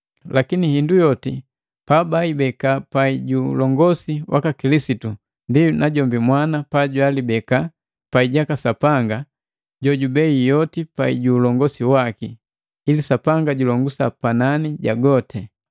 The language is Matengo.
Lakini hindu yoti pabaibeka pai ju ulongosi waka Kilisitu, ndi najombi Mwana pajwalibeka pai jaka Sapanga, jojubei yoti pai ju ulongosi waki, ili Sapanga julongusa panani ja goti.